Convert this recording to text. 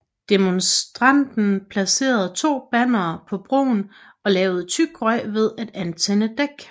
Demonstranten placerede to bannere på broen og lavede tyk røg ved at antænde dæk